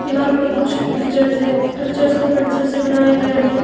दीवार पर कुछ पिक्चर्स हैं पिक्चर्स को पेंसिल से बनाया गया है.